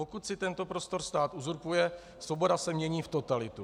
Pokud si tento prostor stát uzurpuje, svoboda se mění v totalitu.